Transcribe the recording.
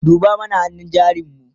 duba mana hannun jarin mu!